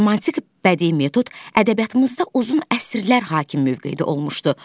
Romantik bədii metod ədəbiyyatımızda uzun əsrlər hakim mövqedə olmuşdu.